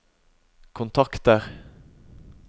kontakter